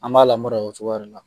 An b'a lamara o cogoya de la